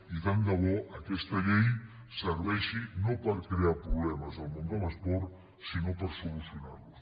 i tant de bo que aquesta llei serveixi no per crear problemes al món de l’esport sinó per solucionar los